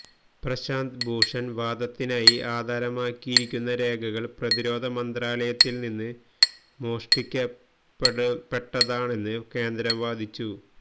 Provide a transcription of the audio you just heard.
പ്രശാന്ത് ഭൂഷണ് വാദത്തിനായി ആധാരമാക്കിയിരിക്കുന്ന രേഖകള് പ്രതിരോധ മന്ത്രാലയത്തില് നിന്ന് മോഷ്ടിക്കപ്പെട്ടതാണെന്ന് കേന്ദ്രം വാദിച്ചു